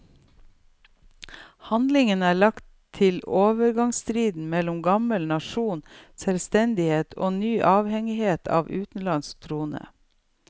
Handlingen er lagt til overgangstiden mellom gammel nasjonal selvstendighet og en ny avhengighet av en utenlandsk trone.